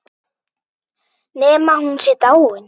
Nema hún sé dáin.